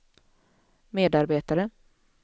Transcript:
medarbetare